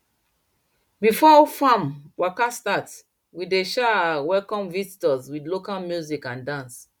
before farm waka start we dey um welcome visitors with local music and dance